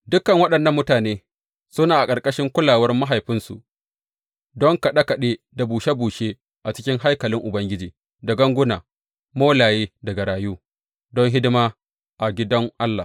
Dukan waɗannan mutane suna a ƙarƙashin kulawar mahaifansu don kaɗe kaɗe da bushe bushe a cikin haikalin Ubangiji, da ganguna, molaye da garayu, don hidima a gidan Allah.